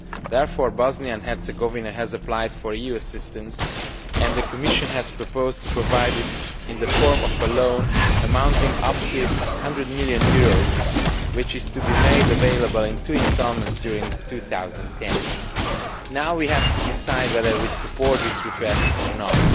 Therefore, Bosnia and Herzegovina has applied for EU assistance and the Commission has proposed to provide it in the form of a loan amounting to up to EUR 100 million, which is to be made available in two instalments during 2010. Now we have to decide whether we support this request or not.